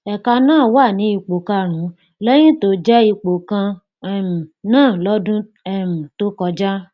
ẹka náà wà ní ipò karùnún lẹyìn tó jẹ ipò kan um náà lọdún um tó kọjá